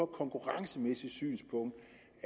konkurrencemæssigt synspunkt